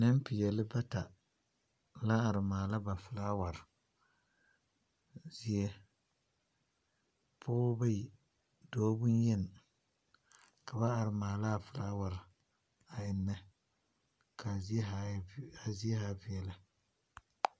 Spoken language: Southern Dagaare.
Nempeɛle bata, la are maala ba felaaware. Pɔgezeɛ, pɔɔba bayi, dɔɔ bonyeni, ka ba are maala a felaaware a ennɛ, ka a zie zaa e, ka a zie zaa veɛlɛ.